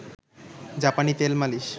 জাপানি তেল মালিশ